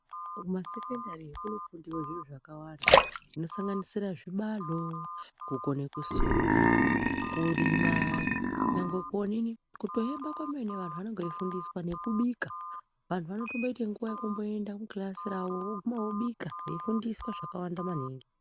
Kumasekendari kunofundiwe zviro zvakawanda zvinosanganisira zvibalo, kukone kusona, kurima nyangwe kutoemba kwemene vantu vanenge veifundiswa nekubika vantu vanotomboite nguwa yekumboenda kukilasi kwavo veibika veifundiswa zvakawanda maningi.